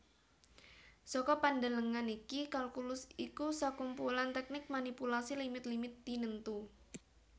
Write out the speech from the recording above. Saka pandelengan iki kalkulus iku sakumpulan tèknik manipulasi limit limit tinentu